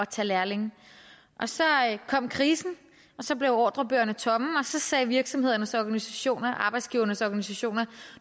tage lærlinge så kom krisen og så blev ordrebøgerne tomme og så sagde virksomhedernes organisationer arbejdsgivernes organisationer